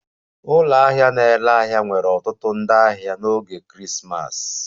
Ụlọ ahịa na-ere ahịa nwere ọtụtụ ndị ahịa n'oge Krismas